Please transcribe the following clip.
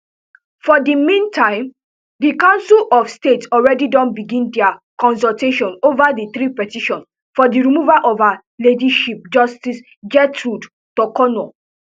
for di meantime di council of state already don begin dia consultation ova di three petitions for di removal of her ladyship justice gertrude torkonoo